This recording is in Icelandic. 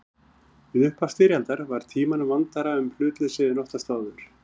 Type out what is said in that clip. Við upphaf styrjaldar var Tímanum vandara um hlutleysið en oftast áður.